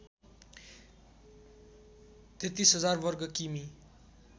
३३००० वर्ग किमि